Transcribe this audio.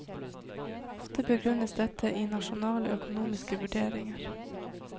Ofte begrunnes dette i nasjonale økonomiske vurderinger.